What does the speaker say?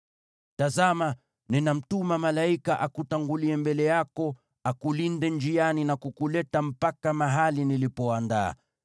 “Tazama, ninamtuma malaika akutangulie mbele yako akulinde njiani na kukuleta mpaka mahali nilipoandaa.